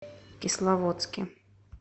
кисловодске